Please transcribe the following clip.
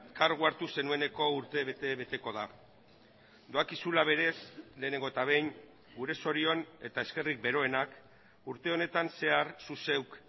kargua hartu zenueneko urtebete beteko da doakizula berez lehenengo eta behin gure zorion eta eskerrik beroenak urte honetan zehar zu zeuk